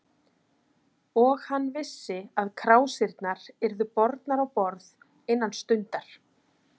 Og hann vissi, að krásirnar yrðu bornar á borð innan stundar.